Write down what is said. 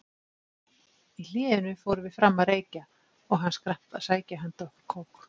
Í hléinu fórum við fram að reykja og hann skrapp að sækja handa okkur kók.